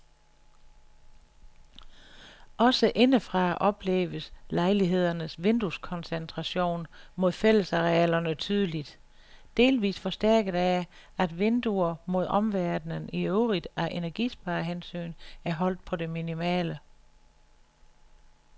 Også indefra opleves lejlighedernes vindueskoncentration mod fællesarealerne tydeligt, delvis forstærket af, at vinduer mod omverdenen i øvrigt af energisparehensyn er holdt på det minimale.